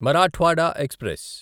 Marathwada express